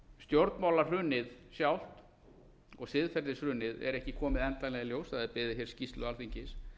tekið er mið af hlutfallstölum stjórnmálahrunið sjálft og siðferðishrunið er ekki komið endanlega í ljós það er beðið skýrslu alþingis